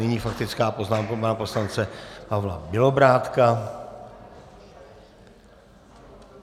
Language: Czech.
Nyní faktická poznámka pana poslance Pavla Bělobrádka.